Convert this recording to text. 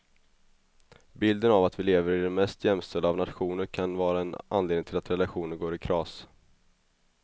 Bilden av att vi lever i den mest jämställda av nationer kan vara en anledning till att relationer går i kras.